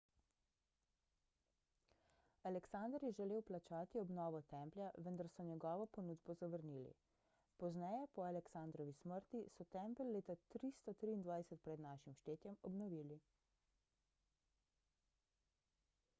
aleksander je želel plačati obnovo templja vendar so njegovo ponudbo zavrnili pozneje po aleksandrovi smrti so tempelj leta 323 pr n š obnovili